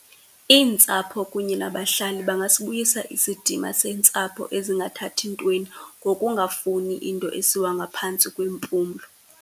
Iintsapho kunye nabahlali bangasibuyisa isidima sentsapho ezingathathi ntweni ngokungafuni into esiwa ngaphantsi kwempumlo.